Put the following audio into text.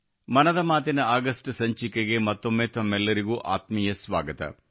ಮನದ ಮಾತಿನ ಆಗಸ್ಟ್ ಸಂಚಿಕೆಗೆ ಮತ್ತೊಮ್ಮೆ ತಮ್ಮೆಲ್ಲರಿಗೂ ಆತ್ಮೀಯ ಸ್ವಾಗತ